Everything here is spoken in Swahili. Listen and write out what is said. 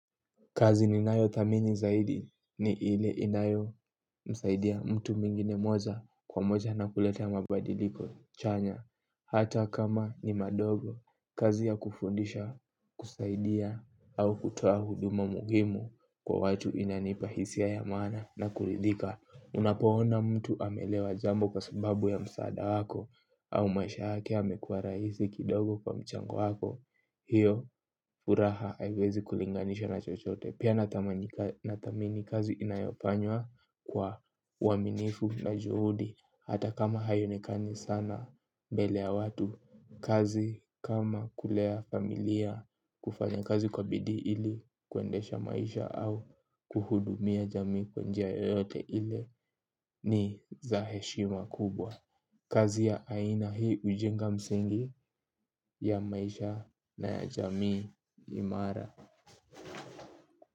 Kazi ninayo thamini zaidi ni ile inayo msaidia mtu mwingine moja kwa moja na kulete ya mabadiliko chanya. Hata kama ni madogo, kazi ya kufundisha kusaidia au kutoa huduma muhimu kwa watu inanipa hisia ya maana na kuridhika. Unapoona mtu ameelewa jambo kwa sababu ya msaada wako au maisha yake yamekuwa rahisi kidogo kwa mchango wako. Hio furaha haiwezi kulinganisha na chochote. Pia nathamini kazi inayofanywa kwa uaminifu na juhudi. Hata kama haionekani sana mbele ya watu kazi kama kulea familia kufanya kazi kwa bidii ili kuendesha maisha au kuhudumia jamii kwa njia yoyote ili ni za heshima kubwa. Kazi ya aina hii ujenga msingi ya maisha na ya jamii imara.